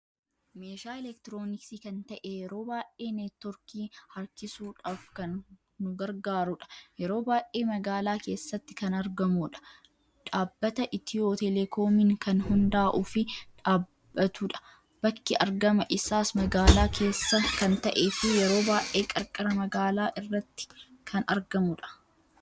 Meeshaa elektirinooksii kan ta'ee yeroo baay'ee netwoorkii harkiisuudhaf kan nu gargaarudha. yeroo baay'ee magaala keessatti kan argamudha. Dhaabbata itiyoo teeleekoomiin kan hunda'uu fi dhabbatudha. bakki argama isaas magaala keessa kan ta'ee fi yeroo baay'ee qarqara magaala irratti kan argamudha.